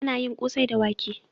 Ana yin ƙosai da wake.